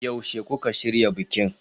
Yaushe kuka shirya bikin?